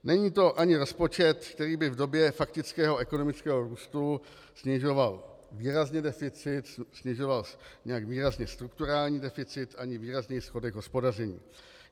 Není to ani rozpočet, který by v době faktického ekonomického růstu snižoval výrazně deficit, snižoval nějak výrazně strukturální deficit ani výrazněji schodek hospodaření.